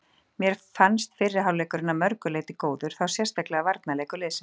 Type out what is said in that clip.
Mér fannst fyrri hálfleikurinn að mörgu leyti góður, þá sérstaklega varnarleikur liðsins.